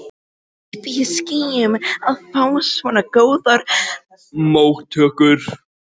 Uppi í skýjunum að fá svona góðar móttökur.